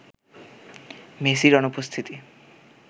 মেসির অনুপস্থিতি